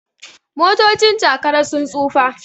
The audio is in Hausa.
motocin Jakara sun tsufa